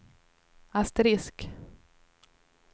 asterisk